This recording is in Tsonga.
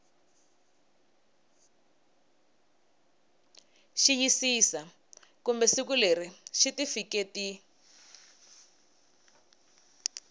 xiyisisa kumbe siku leri xitifiketi